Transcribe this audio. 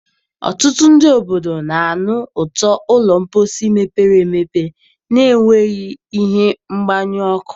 Ọtụtụ ndị obodo na-anụ ụtọ ụlọ mposi mepere emepe na-enweghị ihe mgbanyụ ọkụ.